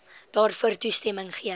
daarvoor toestemming gegee